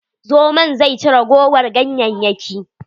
Zomon zai ci ragowar ganyayyakin.